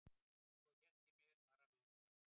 Svo hélt ég mér bara við það.